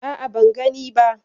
A'a, ban gani ba.